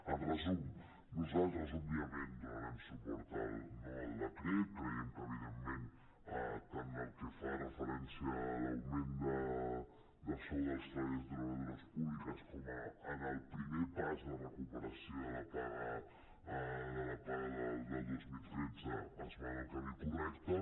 en resum nosaltres òbviament donarem suport al decret creiem que evidentment tant pel que fa referència a l’augment de sou dels treballadors i treballadores públiques com al primer pas de recuperació de la paga del dos mil tretze es va en el camí correcte